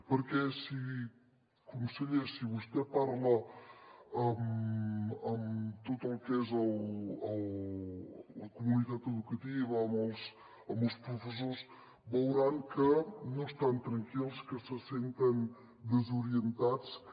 perquè conseller si vostè parla amb tot el que és la comunitat educativa amb els professors veurà que no estan tranquils que se senten desorientats que